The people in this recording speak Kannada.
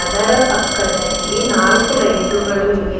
ಅದರ ಪಕ್ಕದಲ್ಲಿ ನಾಲ್ಕು ಲೈಟುಗಳು ಇವೆ.